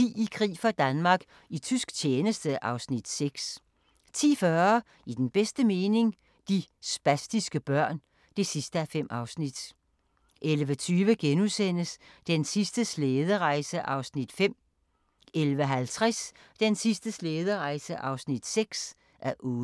I krig for Danmark - i tysk tjeneste (Afs. 6) 10:40: I den bedste mening – De spastiske børn (5:5) 11:20: Den sidste slæderejse (5:8)* 11:50: Den sidste slæderejse (6:8)